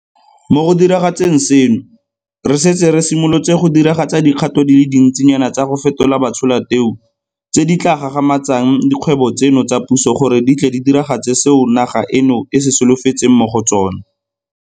Mo go diragatseng seno, re setse re simolotse go diragatsa dikgato di le dintsinyana tsa go fetola batsholateu tse di tla gagamatsang dikgwebo tseno tsa puso gore di tle di diragatse seo naga eno e se solofetseng mo go tsona.